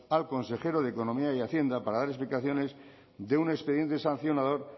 al consejero de economía y hacienda para dar explicaciones de un expediente sancionador